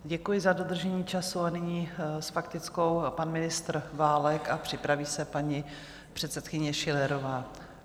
Děkuji za dodržení času a nyní s faktickou pan ministr Válek a připraví se paní předsedkyně Schillerová.